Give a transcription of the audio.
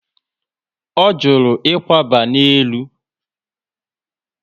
O juru ikwaba na élú